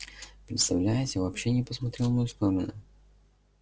представляете вообще не посмотрел в мою сторону